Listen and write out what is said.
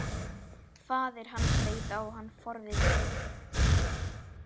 Faðir hans leit á hann forvitinn.